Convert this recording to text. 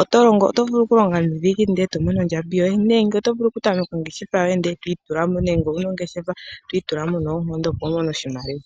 Oto vulu oku longa nuudhiginini ndele e to mono ondjambi yoye, nenge oto vulu oku tameka ongeshefa yoye ndele e to itula mo, nenge owuna ongeshefa e to itula mo opo wu mone oshimaliwa.